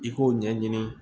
I k'o ɲɛɲini